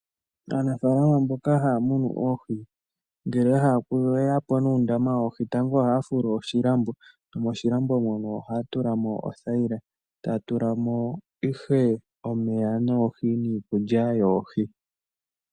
Aanafalama mboka haya munu oohi ngele ya hala okuya po nuundama woohi tango ohaya fulu oshilambo nomoshilambo mono ohaya tula mo othayila taya tula mo ihe omeya noohi niikulya yoohi.